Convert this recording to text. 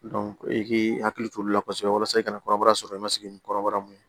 e k'i hakili t'o la kosɛbɛ walasa i ka na kɔrɔbaya i ma sigi ni kɔrɔbara mun ye